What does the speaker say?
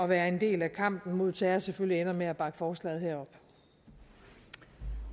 være en del af kampen mod terror selvfølgelig ender med at bakke forslaget her